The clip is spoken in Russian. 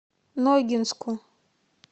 ногинску